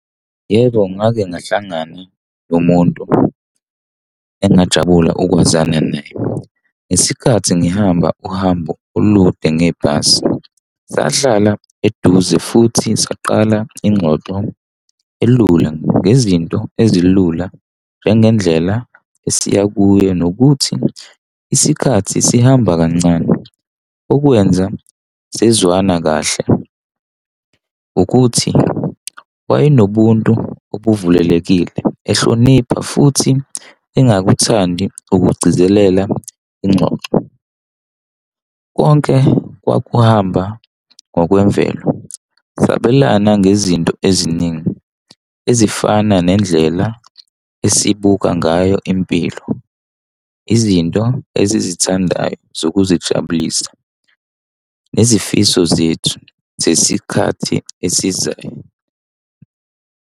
Yebo, ngake ngahlangana nomuntu engajabula ukwazana naye. Ngesikhathi ngihamba uhambo olude ngebhasi, sahlala eduze futhi saqala ingxoxo elula ngezinto ezilula njengendlela esiya kuyo nokuthi isikhathi sihamba kancane. Okwenza sezwana kahle ukuthi wayenobuntu obuvulelekile, ehlonipha futhi engakuthandi ukugcizelela ingxoxo. Konke kwakuhamba ngokwemvelo sabelane ngezinto eziningi ezifana nendlela esibuka ngayo impilo, izinto esizithandayo zokuzijabulisa, izifiso zethu zesikhathi esizayo.